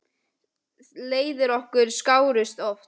Leiðir okkar skárust oft.